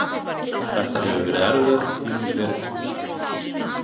Þetta hefur verið erfiðasti tími ferilsins.